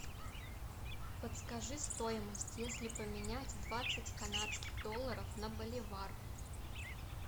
подскажи стоимость если поменять двадцать канадских долларов на боливар